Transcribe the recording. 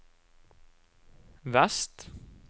vest